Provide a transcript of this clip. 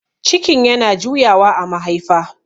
cikin yana juyawa a mahaifa